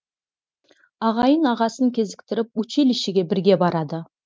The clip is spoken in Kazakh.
ағайын ағасын кезіктіріп училищеге бірге барады